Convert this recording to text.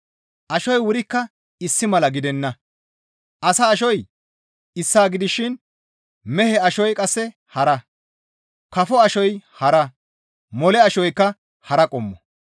Ashoy wurikka issi mala gidenna; asa ashoy issaa gidishin mehe ashoy qasse hara; kafo ashoy hara; mole ashoykka hara qommo.